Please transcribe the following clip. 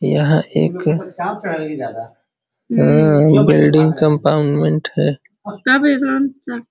यह एक बिल्डिंग कम्पाउंडमेन्ट है।